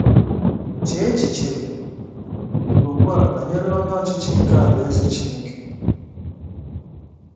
Chee echiche ugbu a banyere Onye Ọchịchị nke Alaeze Chineke.